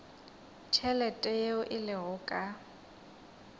tšhelete yeo e lego ka